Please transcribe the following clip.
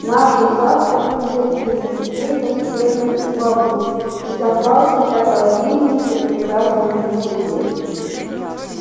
наше завтра изобильно клевер сено и бобы и запасы так обильны что прекрасней нет судьбы